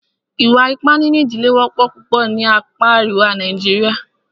Ìwà ipá nínú ìdílé wọ́pọ̀ púpọ̀ ní apá àríwá Nàìjíríà.